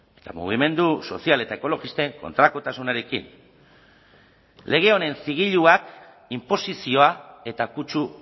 eta mugimendu sozial eta ekologisten kontrakotasunarekin lege honen zigiluak inposizioa eta kutsu